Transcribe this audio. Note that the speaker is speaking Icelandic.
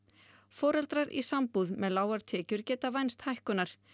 foreldrar í sambúð með lágar tekjur geta vænst hækkunar